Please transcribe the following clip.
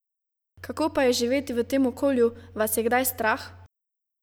Kako pa je živeti v tem okolju, vas je kdaj strah?